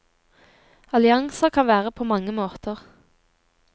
Allianser kan være på mange måter.